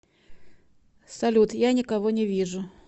салют я никого не вижу